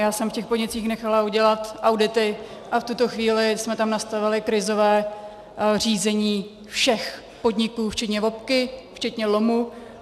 Já jsem v těch podnicích nechala udělat audity a v tuto chvíli jsme tam nastavili krizové řízení všech podniků včetně VOPky, včetně LOMu.